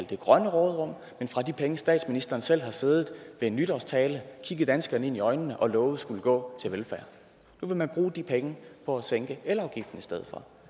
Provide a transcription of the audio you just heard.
det grønne råderum men fra de penge statsministeren selv har siddet ved en nytårstale kigget danskerne ind i øjnene og lovet skulle gå til velfærd nu vil man bruge de penge på at sænke elafgiften i stedet for